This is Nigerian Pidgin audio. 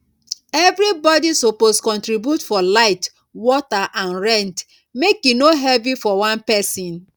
everybody suppose contribute for light water and rent make e no heavy for one person